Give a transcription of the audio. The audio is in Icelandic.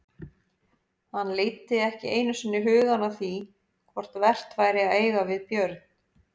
Hann leiddi ekki einu sinni hugann að því hvort vert væri að eiga við Björn.